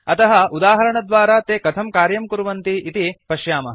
अतः उदाहरणद्वारा ते कथं कार्यं कुर्वन्ति इति पश्यामः